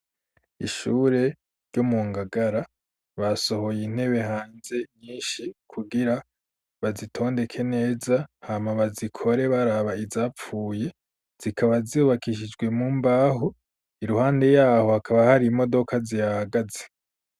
Ishure, ryo mu Ngagara, basohoye intebe hanze, nyinshi, kugira bazitondeke neza, hama bazikore, baraba izapfuye; zikaba, zubakishijwe mu mbaho; iruhande y'aho hakaba, hari imodoka zihahagaze.